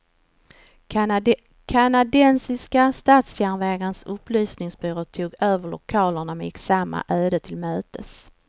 Kanadensiska statsjärnvägars upplysningsbyrå tog över lokalerna men gick samma öde till mötes.